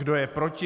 Kdo je proti?